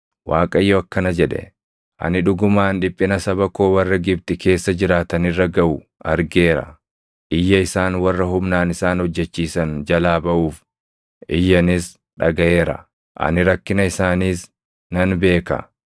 Waaqayyo akkana jedhe; “Ani dhugumaan dhiphina saba koo warra Gibxi keessa jiraatan irra gaʼu argeera. Iyya isaan warra humnaan isaan hojjechiisan jalaa baʼuuf iyyanis dhagaʼeera; ani rakkina isaaniis nan beeka.